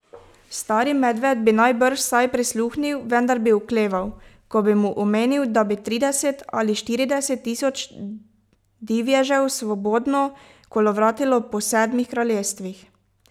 Stari medved bi najbrž vsaj prisluhnil, vendar bi okleval, ko bi mu omenil, da bi trideset ali štirideset tisoč divježev svobodno kolovratilo po Sedmih kraljestvih.